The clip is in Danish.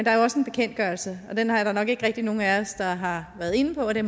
er jo også en bekendtgørelse og den er der nok ikke rigtig nogen af os der har været inde på og det